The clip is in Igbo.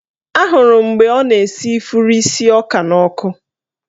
Ahụrụ m mgbe ọ na-esi ifuru isi ọka n'ọkụ